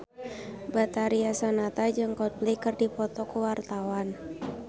Betharia Sonata jeung Coldplay keur dipoto ku wartawan